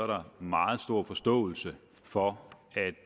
der er meget stor forståelse for at